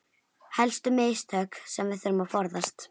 Helstu mistök sem við þurfum að forðast